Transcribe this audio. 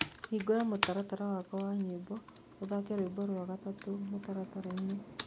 Hĩngũra mũtaratara wakwa wa nyĩmboũthake rwĩmbo rwa gatatũ mũtarataraĩnĩ